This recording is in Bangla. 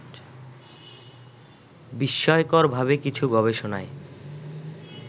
বিস্ময়করভাবে কিছু গবেষণায়